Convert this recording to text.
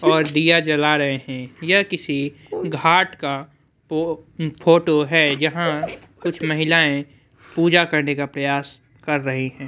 और डिया जला रहे है यह किसी घाट का फोटो है यहाँ कुछ महिलाए पूजा करने का प्रयास कर रही हैं।